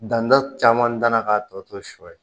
Dantɔ caman danna k'a tɔ to shɔ ye